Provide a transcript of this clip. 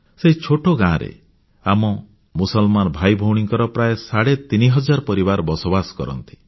ସେହି ଛୋଟ ଗାଁରେ ଆମ ମୁସଲମାନ ଭାଇଭଉଣୀଙ୍କର ପ୍ରାୟ ସାଢ଼େ ତିନିହଜାର ପରିବାର ବସବାସ କରନ୍ତି